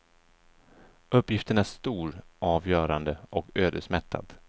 Uppgiften är stor, avgörande och ödesmättad.